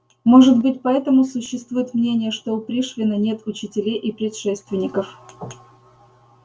может быть поэтому существует мнение что у пришвина нет учителей и предшественников